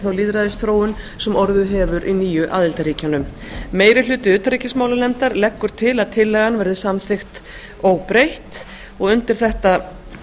þá lýðræðisþróun sem orðið hefur í nýju aðildarríkjunum meiri hlutinn leggur til að tillagan verði samþykkt óbreytt undir þetta